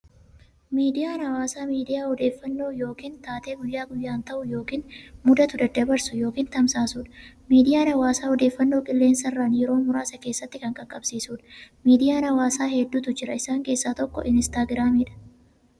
Miidiyaa hawaasaa miidiyaa odeeffannoo yookiin taatee guyyaa guyyaan ta'u yookiin mudatu daddabarsu yookiin tamsaasudha. Miidiyaan hawaasaa odeeffannoo qilleensarraan yeroo muraasa keessatti kan qaqqabsiisudha. Miidiyaan hawaasaa hedduutu jira. Isaan keessaa tokko Instagramdha.